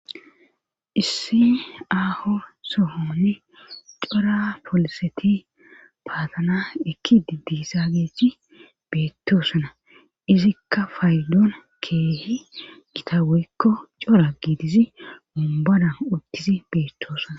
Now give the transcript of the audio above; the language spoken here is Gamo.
issi aaho sohonni cora poliseti paatana ekkidi dizageti beettoosana izikka faydoona keehi gita woykko cora giidizi umbada uttisi beettoosana